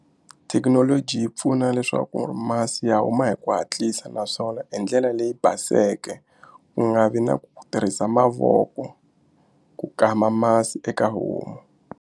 Thekinoloji yi pfuna leswaku masi ya huma hi ku hatlisa naswona hi ndlela leyi baseke ku nga vi na ku tirhisa mavoko ku kama masi eka homu.